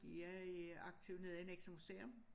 De er i aktive nede i Nexø museum